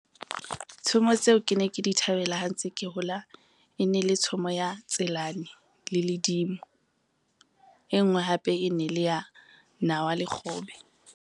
Tshomo tseo ke ne ke di thabela ha ntse ke hola. E ne le tshomo ya Tselane le Ledimo, e ngwe hape e ne le ya nawa le kgobe.